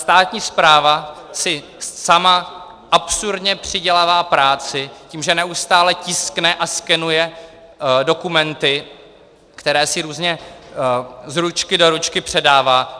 Státní správa si sama absurdně přidělává práci tím, že neustále tiskne a skenuje dokumenty, které si různě z ručky do ručky předává.